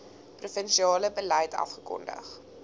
provinsiale beleid afgekondig